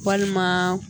Walima